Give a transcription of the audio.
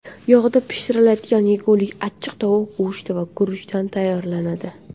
Yog‘da pishiriladigan yegulik achchiq tovuq go‘shti va guruchdan tayyorlanadi.